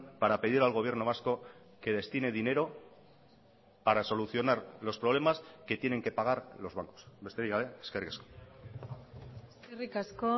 para pedir al gobierno vasco que destine dinero para solucionar los problemas que tienen que pagar los bancos besterik gabe eskerrik asko eskerrik asko